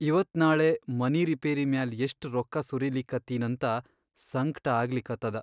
ಇವತ್ ನಾಳೆ ಮನಿ ರಿಪೇರಿ ಮ್ಯಾಲ್ ಎಷ್ಟ್ ರೊಕ್ಕಾ ಸುರೀಲಿಕತ್ತಿನಂತ ಸಂಕ್ಟ ಆಗ್ಲಿಕತ್ತದ.